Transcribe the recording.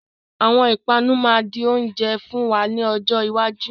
Àwọn ìpanu máa di oúnjẹ fún wa ní ọjọ́ iwájú.